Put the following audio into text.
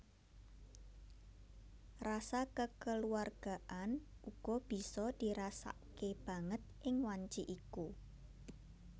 Rasa kekeluargaan uga bisa dirasakke banget ing wanci iku